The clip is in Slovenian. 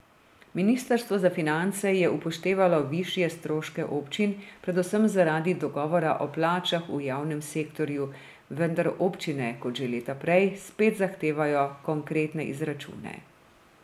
Ministrstvo za finance je upoštevalo višje stroške občin, predvsem zaradi dogovora o plačah v javnem sektorju, vendar občine, kot že leta prej, spet zahtevajo konkretne izračune.